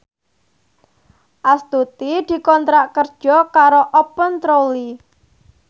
Astuti dikontrak kerja karo Open Trolley